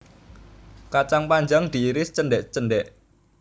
Kacang panjang diiris cendhek cendhek